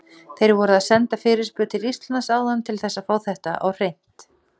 Þeir voru að senda fyrirspurn til Íslands áðan til þess að fá þetta á hreint.